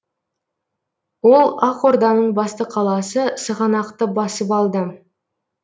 ол ақ орданың басты қаласы сығанақты басып алды